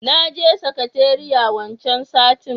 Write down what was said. naje sakateriya wancan satin.